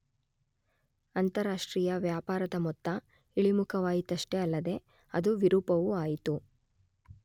ಅಂತಾರಾಷ್ಟ್ರೀಯ ವ್ಯಾಪಾರದ ಮೊತ್ತ ಇಳಿಮುಖವಾಯಿತಷ್ಟೇ ಅಲ್ಲದೆ ಅದು ವಿರೂಪವೂ ಆಯಿತು.